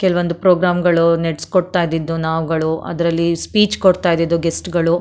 ಕೆಲವೊಂದು ಪ್ರೋಗ್ರಾಮ್ ಗಳು ನೆಡ್ಸ್ ಕೊಡ್ತಾ ಇದ್ದದ್ದು ನಾವುಗಳು ಅದರಲ್ಲಿ ಸ್ಪೀಚ್ ಕೊಡ್ತಾ ಇದ್ದದ್ದು ಗೆಸ್ಟ್ ಗಳು.